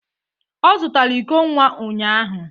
Ọ zụtara iko nwa ụnyahụ